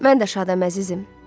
Mən də şadam, əzizim.